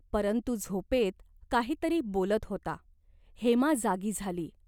परंतु झोपेत काही तरी बोलत होता. हेमा जागी झाली.